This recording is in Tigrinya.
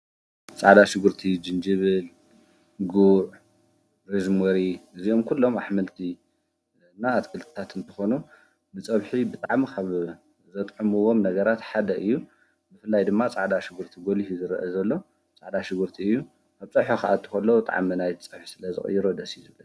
ኣትክልትን ኣሕምልትን ካብ መሬት ዝበቁሉ ተፈጥሯዊ መግቢ እዮም። ንሰውነት ዘድልዩ ቫይታሚን፣ ሚነራልን ፋይበርን ይሃቡ። ጥዕና ንምሕባርን ሕማም ንምክልኻልን ብጣዕሚ ይሕግዙ። ፃዕላ ሽጕርቲ ጅንጀብል ግዕዕ ርዝምሪ እዚኦም ኲሎም ኣኅመልቲ ለና ኣትቅልታት እንተኾኑ ብጸብሒ ብጣሚ ኸብ ዘጥዕምዎም ነገራትሓደ እዩ ምፍላይ ድማ ፃዕዳ ሽጕርቲ ጐሊሽ ዝረአ ዘሎ ፃዕዳሽጉርቲ እዩ ኣብ ጽሕሖ ኸኣትወሎዉ ተዓመናይት ጽሕሕ ስለ ዘቕይረደስ ይዝብን